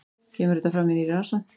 Kemur þetta fram í nýrri rannsókn